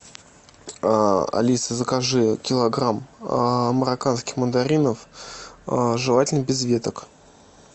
алиса закажи килограмм марокканских мандаринов желательно без веток